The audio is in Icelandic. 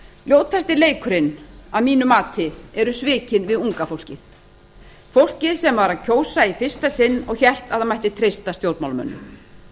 ljótasti leikurinn er að mínu mati svikin við unga fólkið fólkið sem var að kjósa í fyrsta sinn og hélt að það mætti treysta stjórnmálamönnum